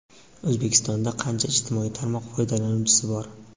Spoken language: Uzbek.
O‘zbekistonda qancha ijtimoiy tarmoq foydalanuvchisi bor?.